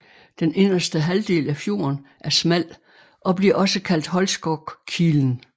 Den inderste halvdel af fjorden er smal og bliver også kaldt Holskogkilen